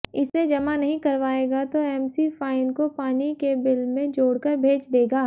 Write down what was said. इसे जमा नहीं करवाएगा तो एमसी फाइन को पानी के बिल में जोड़कर भेज देगा